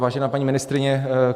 Vážená paní ministryně.